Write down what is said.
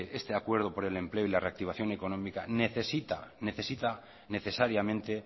este acuerdo por el empleo y la reactivación económica necesita necesariamente